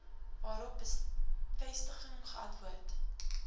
waarop bevestigend geantwoord